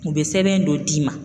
U bɛ sɛbɛn dɔ d'i ma